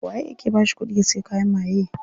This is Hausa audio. Waye yake bashi kudi ya siya kayan maye?